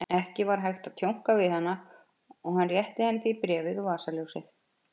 Ekki var hægt að tjónka við hana og hann rétti henni því bréfið og vasaljósið.